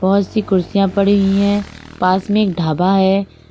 बहुत सी कुर्सियां पड़ी हुई हैं पास में एक ढाबा है।